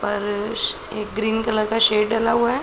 और एक green colour का सेड डला हुआ है।